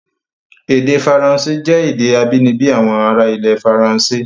Èdè Faransé jẹ́ èdè abínibí àwọn ará ilẹ̀ Faransé.